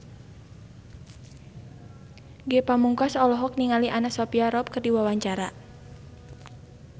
Ge Pamungkas olohok ningali Anna Sophia Robb keur diwawancara